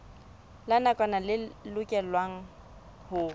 la nakwana le lokelwang ho